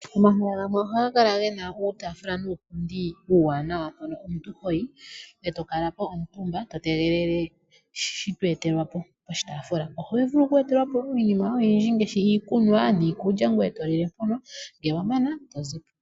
Omahala gamwe ohaga kala gena uutaafula nuupundi uuwanawa mpono omuntu hoyi eto kala po omutumba to tegelele shito etelwa po poshitaafula. Oho vulu oku etelwa po iinima oyindji ngaashi iikulya, iikunwa ngoye to lile mpono. Nge wa mana to zipo.